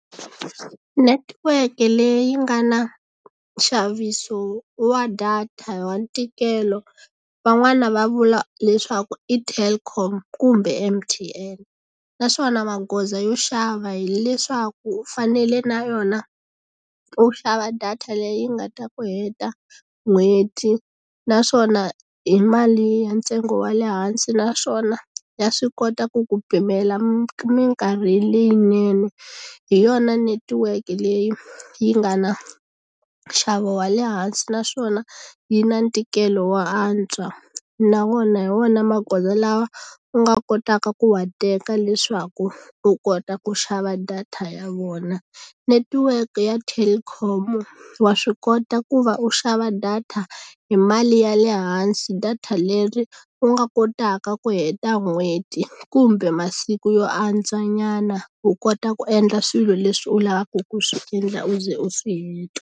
Netiweke leyi nga na nxaviso wa data wa ntikelo van'wana va vula leswaku i Telkom kumbe M_T_N naswona magoza yo xava hileswaku u fanele na yona u xava data leyi nga ta ku heta n'hweti naswona hi mali ya ntsengo wa le hansi naswona ya swi kota ku ku pimela mikarhi leyinene hi yona netiweke leyi yi nga na nxavo wa le hansi naswona yi na ntikelo wo antswa na wona hi wona magoza lawa u nga kotaka ku wa teka leswaku u kota ku xava data ya vona netiweke ya Telkom wa swi kota ku va u xava data hi mali ya le hansi data leri u nga kotaka ku heta n'hweti kumbe masiku yo antswa nyana u kota ku endla swilo leswi u lavaka ku swi endla u ze u swi heta.